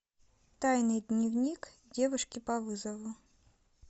тайный дневник девушки по вызову